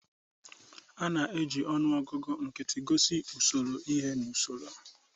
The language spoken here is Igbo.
A na-eji ọnụọgụ nkịtị gosi usoro ihe n'usoro.